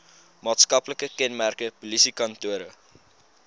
maatskaplike kenmerke polisiekantore